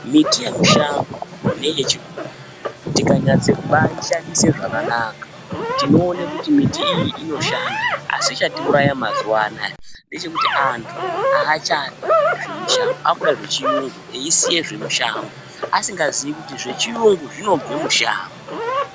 Miti yemushango neyechibhoyi tikanyatsobaishandisa zvakanaka, tinoone kuti miti iyi inoshanda asi chatiuraya mazuva anaya ndechekuti antu haachadi zvemushango. Akuda zvechiyungu eisiya zvemushango. Asingaziyi kuti zvechiyungu zvinobva mushango.